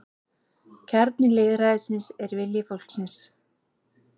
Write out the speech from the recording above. Kjarni lýðræðisins er vilji fólksins